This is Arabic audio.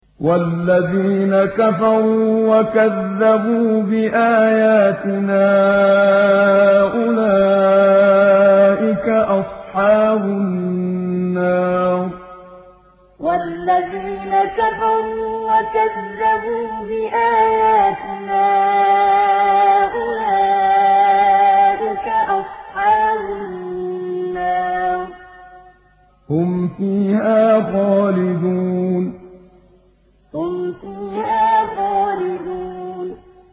وَالَّذِينَ كَفَرُوا وَكَذَّبُوا بِآيَاتِنَا أُولَٰئِكَ أَصْحَابُ النَّارِ ۖ هُمْ فِيهَا خَالِدُونَ وَالَّذِينَ كَفَرُوا وَكَذَّبُوا بِآيَاتِنَا أُولَٰئِكَ أَصْحَابُ النَّارِ ۖ هُمْ فِيهَا خَالِدُونَ